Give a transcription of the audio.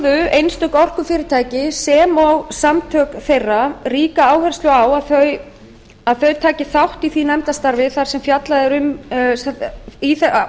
lögðu einstök orkufyrirtæki sem og samtök þeirra ríka áherslu á að þau tækju þátt í ofangreindu og áðurnefndu nefndarstarfi sem fjallað er um í